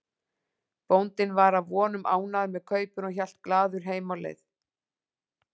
Bóndinn var að vonum ánægður með kaupin og hélt glaður heim á leið.